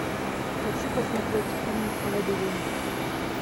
хочу посмотреть фильм лабиринт